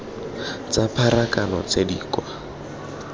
tsa pharakano tse di kwa